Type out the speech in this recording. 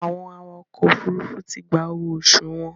Àwọn awakọ̀ òfurufú ti gba owó oṣù wọn.